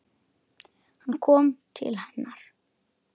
Hann kom til hennar.